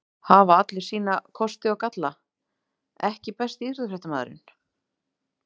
Hafa allir sína kosti og galla EKKI besti íþróttafréttamaðurinn?